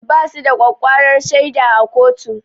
Basu da ƙwaƙƙwarar shaida a kotu